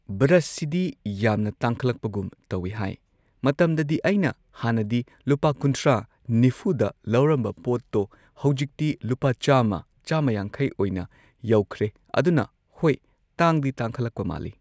ꯕ꯭ꯔꯁꯁꯤꯗꯤ ꯌꯥꯝꯅ ꯇꯥꯡꯈꯂꯛꯄꯒꯨꯝ ꯇꯧꯋꯤ ꯍꯥꯏ ꯃꯇꯝꯗꯗꯤ ꯑꯩꯅ ꯍꯥꯟꯅꯗꯤ ꯂꯨꯄꯥ ꯀꯨꯟꯊ꯭ꯔꯥ ꯅꯤꯐꯨꯗ ꯂꯧꯔꯝꯕ ꯄꯣꯠꯇꯣ ꯍꯧꯖꯤꯛꯇꯤ ꯂꯨꯄꯥ ꯆꯥꯝꯃ ꯆꯥꯝꯃ ꯌꯥꯡꯈꯩ ꯑꯣꯏꯅ ꯌꯧꯈ꯭ꯔꯦ ꯑꯗꯨꯅ ꯍꯣꯏ ꯇꯥꯡꯗꯤ ꯇꯥꯡꯈꯠꯂꯛꯄ ꯃꯥꯜꯂꯤ꯫